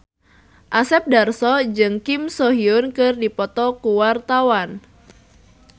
Asep Darso jeung Kim So Hyun keur dipoto ku wartawan